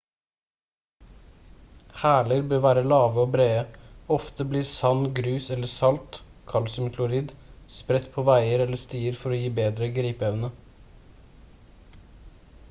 hæler bør være lave og brede. ofte blir sand grus eller salt kalsiumklorid spredt på veier eller stier for å gi en bedre gripeevne